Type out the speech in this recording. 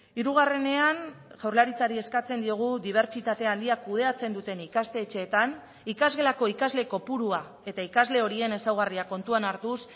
hirugarrenean jaurlaritzari eskatzen diogu dibertsitate handia kudeatzen duten ikastetxeetan ikasgelako ikasle kopurua eta ikasle horien ezaugarriak kontuan hartuz